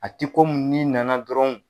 A tɛ komi ni nana dɔrɔn.